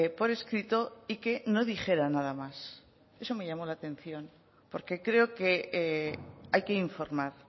por escrito y que no dijera nada más eso me llamó la atención porque creo que hay que informar